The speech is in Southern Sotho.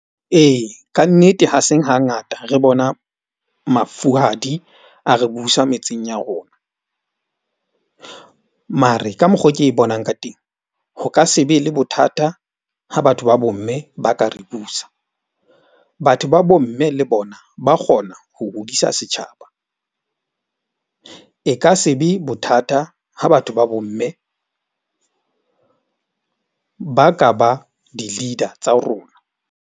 Ee, kannete ha se hangata re bona mafuhadi a re busa metseng ya rona. Mare ka mokgo ke bonang ka teng. Ho ka se be le bothata ha batho ba bomme ba ka re busa. Batho ba bomme le bona ba kgona ho hodisa setjhaba. E ka se be bothata ha batho ba bomme ba ka ba di- leader tsa rona.